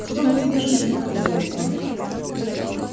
всё бы тебе шутить говорил он